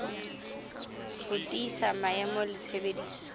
ho tiisa maemo le tshebediso